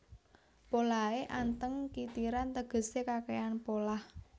Polahé anteng kitiran tegesé kakèhan polah